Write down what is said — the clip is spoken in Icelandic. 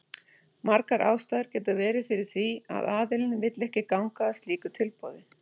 Margar ástæður geta verið fyrir því að aðilinn vill ekki ganga að slíku tilboði.